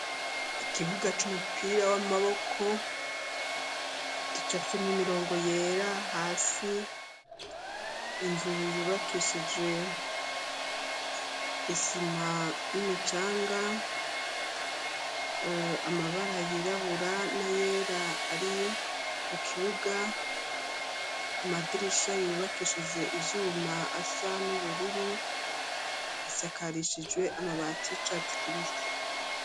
Ikibuga c'umupira w'amaboko gicafyemwo imirongo yera, hasi inzu yubakishijwe isima n'imicanga, amabara yirabura n'ayera ari ku kibuga ,amadirisha yubakishijwe ivyuma asa n'ubururu, bisakarishijwe amabati y'icatsi kibisi.